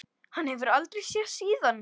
Hann hefur aldrei sést síðan.